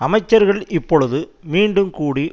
அமைச்சர்கள் இப்பொழுது மீண்டும் கூடி